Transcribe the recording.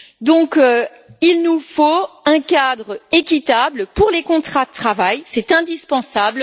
Par conséquent, il nous faut un cadre équitable pour les contrats de travail. C'est indispensable.